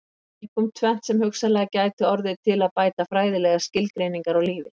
Það er einkum tvennt sem hugsanlega gæti orðið til að bæta fræðilegar skilgreiningar á lífi.